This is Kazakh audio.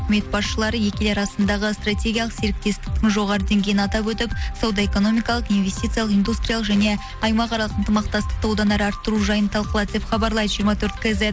өкімет басшылары екі ел арасындағы стратегиялық серіктестіктің жоғары деңгейін атап өтіп сауда экономикалық инвестициялық индустриялық және аймақаралық ынтымақтастықты одан әрі арттыру жайын талқылады деп хабарлайды жиырма төрт кейзет